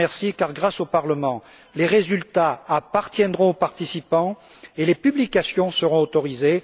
Je vous en remercie car, grâce au Parlement, les résultats appartiendront aux participants et les publications seront autorisées.